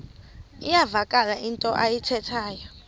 iyavakala into ayithethayo